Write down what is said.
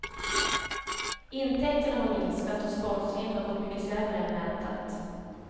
Intäkterna har minskat och sponsringen har gått mycket sämre än väntat.